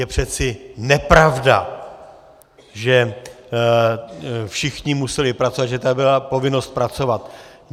Je přece nepravda, že všichni museli pracovat, že tady byla povinnost pracovat.